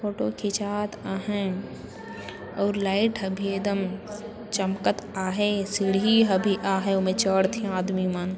photo खींच आ हय और लाइट अभी एकदम चमकत आहे सीढ़ी अभी आए ओ में चढ़थे आदमी मन --